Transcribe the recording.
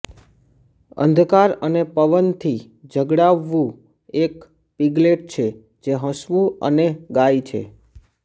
અંધકાર અને પવનથી ઝગડાવવું એક પિગલેટ છે જે હસવું અને ગાય છે